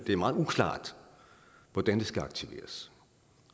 det er meget uklart hvordan det skal aktiveres